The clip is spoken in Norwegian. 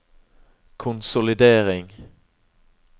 konsolidering